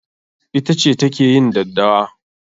Ita ce ta ke yin daddawa.